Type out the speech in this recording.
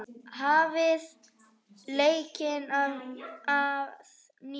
Hafið leikinn að nýju.